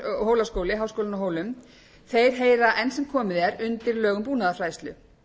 hólaskóli háskólinn á hólum heyra enn sem komið er undir lög um búnaðarfræðslu